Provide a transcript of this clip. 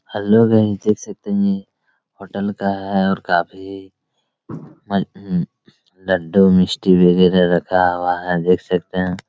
Hello guys देख सकते है होटल का है और काफी म हम्म लड्डू मिस्टी वगैरा रखा हुआ है देख सकते है।